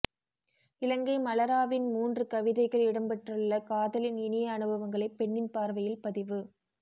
இலங்கை மலராவின் மூன்று கவிதைகள் இடம் பெற்றுள்ளன காதலின் இனிய அனுபவங்களை பெண்ணின் பார்வையில் பதிவு